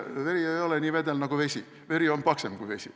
Veri ei ole nii vedel nagu vesi, veri on paksem kui vesi.